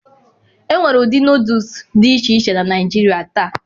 Enwere ụdị Nọdụs dị iche iche na Naijiria taa